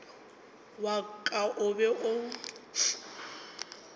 wa ka o be o